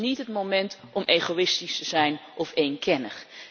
Dit is niet het moment om egoïstisch zijn of eenkennig.